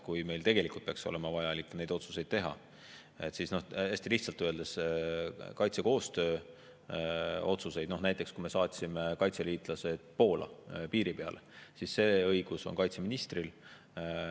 Kui meil tegelikult peaks olema vaja neid otsuseid teha, siis hästi lihtsalt öeldes on kaitsekoostöö otsuste – näiteks kui me saatsime kaitseliitlased Poola, piiri peale – õigus kaitseministril.